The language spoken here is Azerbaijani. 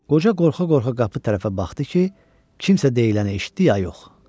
Qoca qorxa-qorxa qapı tərəfə baxdı ki, kimsə deyiləni eşitdi ya yox.